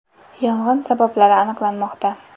Yong‘in sabablari aniqlanmoqda.